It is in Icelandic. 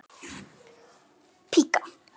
Hún bara hellist yfir.